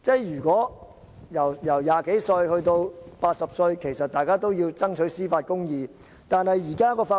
由20多歲至80歲，大家都要爭取司法公義。